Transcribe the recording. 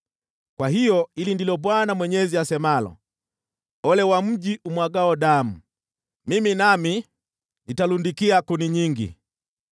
“ ‘Kwa hiyo, hili ndilo Bwana Mwenyezi asemalo: “ ‘Ole wa mji umwagao damu! Mimi nami nitalundikia kuni nyingi.